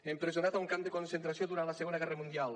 empresonat a un camp de concentració durant la segona guerra mundial